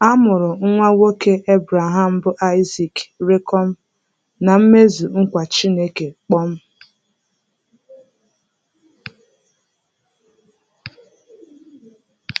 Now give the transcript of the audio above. A mụrụ nwa nwoke Ebreham bụ́ Aịzik rikom na-mmezu nkwa Chineke kpom.